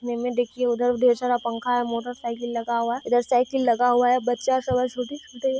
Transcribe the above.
एने देखिये उधर ढेर सारा पंखा और मोटरसाइकिल लगा हुआ है उधर साइकिल लगा हुआ है बच्चा सब है छोटी बताइये --